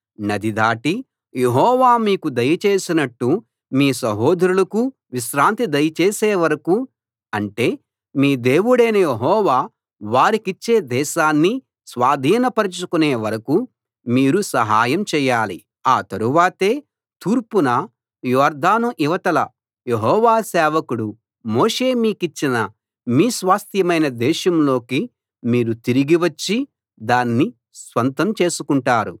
నది దాటి యెహోవా మీకు దయచేసినట్లు మీ సహోదరులకూ విశ్రాంతి దయచేసే వరకూ అంటే మీ దేవుడైన యెహోవా వారికిచ్చే దేశాన్ని స్వాధీనపరచుకొనే వరకూ మీరూ సహాయం చేయాలి ఆ తరువాతే తూర్పున యొర్దాను ఇవతల యెహోవా సేవకుడు మోషే మీకిచ్చిన మీ స్వాస్థ్యమైన దేశంలోకి మీరు తిరిగి వచ్చి దాన్ని స్వంతం చేసుకుంటారు